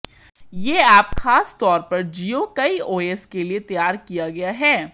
यह ऐप खास तौर पर जियो काईओएस के लिए तैयार किया गया है